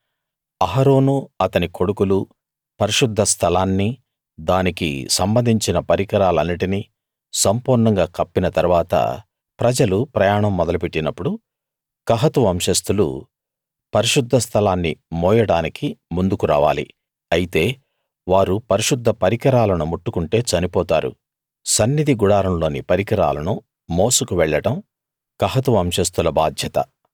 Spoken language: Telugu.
అహరోనూ అతని కొడుకులూ పరిశుద్ధ స్థలాన్నీ దానికి సంబంధించిన పరికరాలన్నిటినీ సంపూర్ణంగా కప్పిన తరువాత ప్రజలు ప్రయాణం మొదలు పెట్టినప్పుడు కహాతు వంశస్తులు పరిశుద్ధ స్థలాన్ని మోయడానికి ముందుకు రావాలి అయితే వారు పరిశుద్ధ పరికరాలను ముట్టుకుంటే చనిపోతారు సన్నిధి గుడారంలోని పరికరాలను మోసుకు వెళ్ళడం కహతు వంశస్తుల బాధ్యత